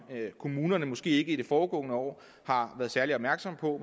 kommunerne måske ikke i det foregående år har været særlig opmærksomme på